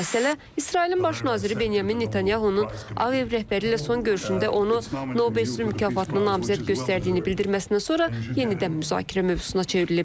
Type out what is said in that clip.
Bu məsələ İsrailin baş naziri Benyamin Netanyahunun AEV rəhbəri ilə son görüşündə onu Nobel sülh mükafatına namizəd göstərdiyini bildirməsindən sonra yenidən müzakirə mövzusuna çevrilib.